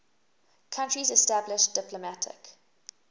countries established diplomatic